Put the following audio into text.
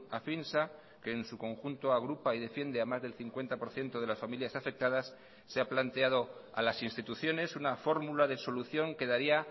afinsa que en su conjunto agrupa y defiende a más del cincuenta por ciento de las familias afectadas se ha planteado a las instituciones una fórmula de solución que daría